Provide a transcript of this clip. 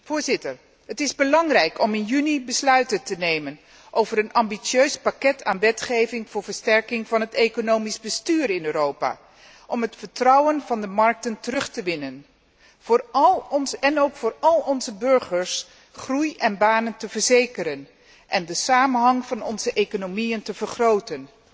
Voorzitter, het is belangrijk om in juni besluiten te nemen over een ambitieus pakket aan wetgeving voor versterking van het economisch bestuur in Europa om het vertrouwen van de markten terug te winnen en ook om voor al onze burgers groei en banen te verzekeren en de samenhang van onze economieën te vergroten.